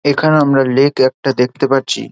এখানে আমরা লেক একটা দেখতে পাচ্ছি।